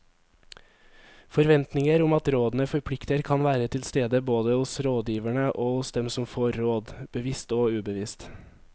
Forventninger om at rådene forplikter kan være til stede både hos rådgiverne og hos den som får råd, bevisst og ubevisst.